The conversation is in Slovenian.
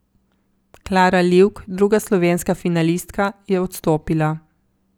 Klara Livk, druga slovenska finalistka, je odstopila.